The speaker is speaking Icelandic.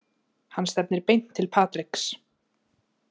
Hann stefnir beint til Patriks.